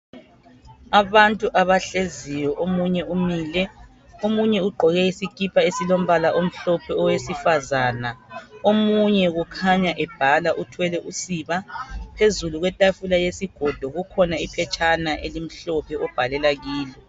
Abantu abahleziyo omunye umile. Omunye ugqoke isikipa esilombala omhlophe owesifazana. Omunye kukhanya ebhala uthwele usiba. Phezulu kwetafula yesigodo kukhona iphetshana elimhlophe obhalela kilo.